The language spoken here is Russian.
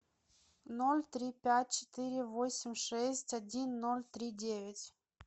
ноль три пять четыре восемь шесть один ноль три девять